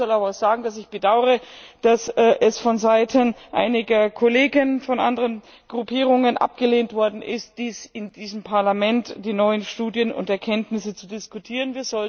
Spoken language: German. Ich muss aber auch sagen, dass ich es bedaure, dass es vonseiten einiger Kollegen von anderen Gruppierungen abgelehnt worden ist, in diesem Parlament die neuen Studien und Erkenntnisse zu diskutieren